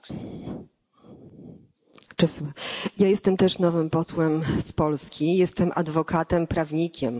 Ja jestem też nowym posłem z Polski, jestem adwokatem, prawnikiem, zajmuję się prawem morskim.